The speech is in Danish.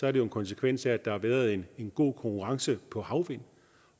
er det jo en konsekvens af at der har været en god konkurrence på havvind